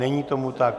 Není tomu tak.